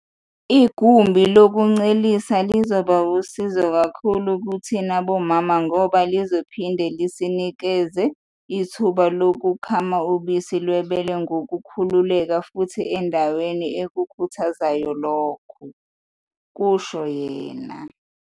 "Igumbi lokuncelisela lizoba wusizo kakhulu kithina bomama ngoba lizophinde lisinikeze ithuba lokukhama ubisi lwebele ngokukhululeka futhi endaweni ekukhuthazayo lokhu," kusho yena.